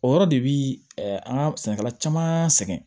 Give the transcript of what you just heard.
O yɔrɔ de bi an ka sɛnɛkɛla caman sɛgɛn